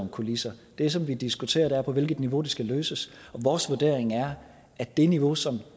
kulisser det som vi diskuterer er på hvilket niveau det skal løses og vores vurdering er at det niveau som